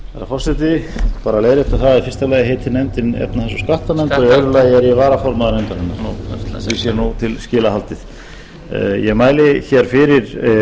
nefndin efnahags og skattanefnd og í öðru lagi er ég varaformaður nefndarinnar svo því sé til skila haldið ég mæli fyrir